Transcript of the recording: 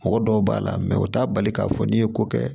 Mɔgɔ dɔw b'a la u t'a bali k'a fɔ n'i ye ko kɛ